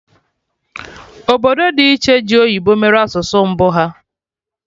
Obodo dị iche ji oyibo mere asụsụ mbụ ha